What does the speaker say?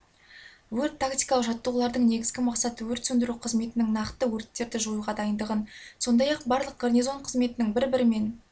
өрт-тактикалық жаттығулардың негізгі мақсаты өрт сөндіру қызметінің нақты өрттерді жоюға дайындығын сондай-ақ барлық гарнизон қызметінің бір-бірімен